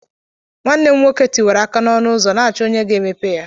Nwanne m nwoke tiwara aka n'ọnụ ụzọ na-achọ onye ga-emepe ya.